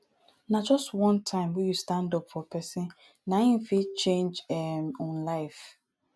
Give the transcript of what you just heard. na just one time wey you stand up for pesin na em fit change em um life